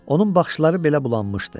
Onun baxışları belə bulanmışdı.